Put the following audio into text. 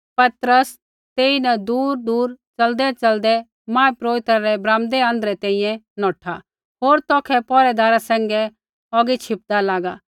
पतरस तेईन दूरदूर च़लदैच़लदै महापुरोहित रै ब्राम्दै आँध्रै तैंईंयैं नौठा होर तौखै पौहरैदारा सैंघै औगी छिपदा लागा